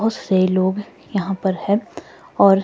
बहुत से लोग यहां पर है और--